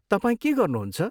तपाईँ के गर्नुहुन्छ?